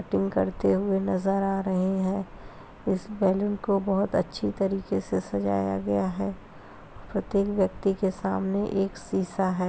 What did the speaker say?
करते हुए नजर आ रहे हैं इस बैलून को बहुत अच्छी तरीके से सजाया गया है प्रत्येक व्यक्ति के सामने एक शीशा है।